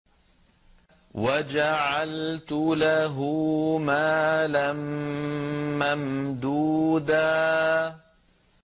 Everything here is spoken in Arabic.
وَجَعَلْتُ لَهُ مَالًا مَّمْدُودًا